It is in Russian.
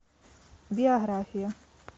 биография